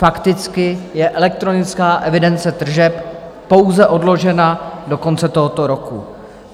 Fakticky je elektronická evidence tržeb pouze odložena do konce tohoto roku.